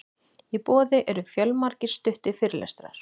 í boði eru fjölmargir stuttir fyrirlestrar